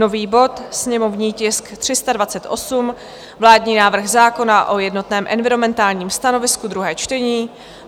nový bod, sněmovní tisk 328, vládní návrh zákona o jednotném environmentálním stanovisku, druhé čtení;